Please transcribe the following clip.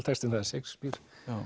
textinn það er Shakespeare